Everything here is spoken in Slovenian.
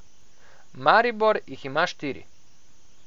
Maribor jih ima štiri.